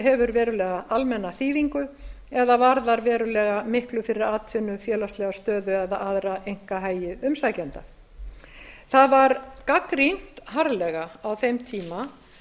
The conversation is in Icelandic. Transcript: hefur verulega almenna þýðingu eða varðar verulega miklu fyrir atvinnu félagslega stöðu eða aðra einkahagi sækja ára það var gagnrýnt harðlega á þeim tíma